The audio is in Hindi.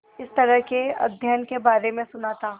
इस तरह के अध्ययन के बारे में सुना था